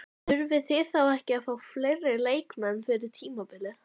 Þurfið þið þá ekki að fá fleiri leikmenn fyrir tímabilið?